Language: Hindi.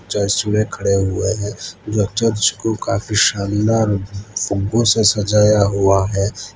चर्च खड़े हुए हैं। जब चर्च को काफी शानदार फूलों से सजाया हुआ है।